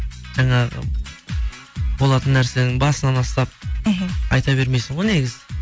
жаңағы болатын нәрсенің басынан астап мхм айта бермейсің ғой негізі